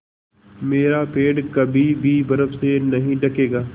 मेरा पेड़ कभी भी बर्फ़ से नहीं ढकेगा